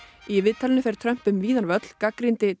í viðtalinu fer Trump um víðan völl gagnrýndi